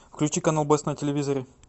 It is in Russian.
включи канал бест на телевизоре